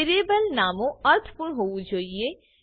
variable નામો અર્થપૂર્ણ હોવું જોઈએ